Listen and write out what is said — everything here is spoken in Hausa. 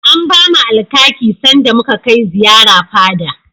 An bamu Alkaki sanda muka kai ziyara fada.